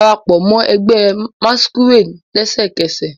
Darapọ mọ ẹgbẹ masquerade lẹsẹkẹsẹ